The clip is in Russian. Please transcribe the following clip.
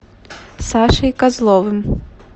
сашей козловым